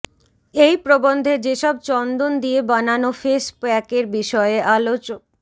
এই প্রবন্ধে যেসব চন্দন দিয়ে বানানো ফেস প্য়াকের বিষয়ে আলোচ